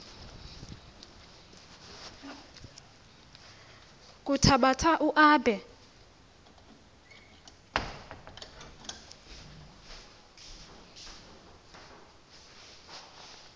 kuthabatha u aabe